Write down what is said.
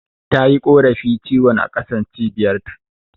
Tayi korafi ciwon a ƙasan Cibiyar ta